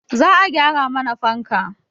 Za a gyara mana fanka